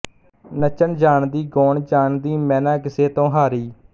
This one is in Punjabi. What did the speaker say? ਨੱਚਣ ਜਾਣਦੀ ਗਾਉਣ ਜਾਣਦੀਮੈ ਨਾ ਕਿਸੇ ਤੋਂ ਹਾਰੀ